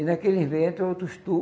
E naquele vento, outros